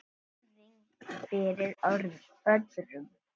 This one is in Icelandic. Virðing fyrir öðrum.